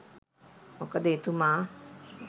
මොකද එතුමා